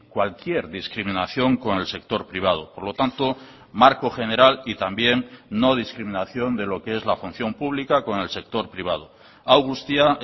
cualquier discriminación con el sector privado por lo tanto marco general y también no discriminación de lo que es la función pública con el sector privado hau guztia